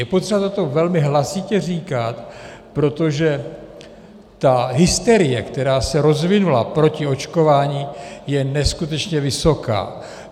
Je potřeba toto velmi hlasitě říkat, protože ta hysterie, která se rozvinula proti očkování, je neskutečně vysoká.